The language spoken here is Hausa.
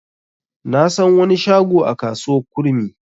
Na san wani shago a kasuwar kurmi.